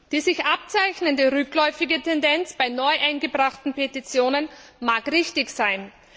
Die sich abzeichnende rückläufige Tendenz bei neu eingebrachten Petitionen mag richtig sein.